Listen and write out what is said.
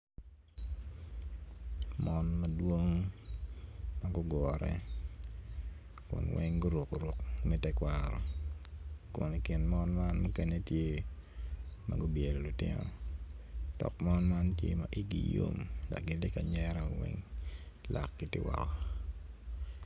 Mon madwong ma gugure kun gin weng guruko ruk me tekwaro kun i kin mon man muken etye ma gubyelo lutino dok man man gitye ma igi yo mdok gitye kanyero.